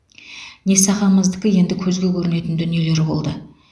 несағамыздікі енді көзге көрінетін дүниелер болды